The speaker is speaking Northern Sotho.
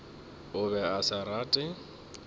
o be a sa rate